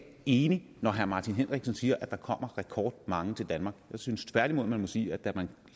enig når herre martin henriksen siger at der kommer rekordmange til danmark jeg synes tværtimod man må sige at da man